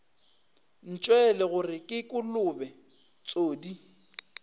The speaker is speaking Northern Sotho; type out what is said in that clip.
ntšwele gore ke kolobe tsodii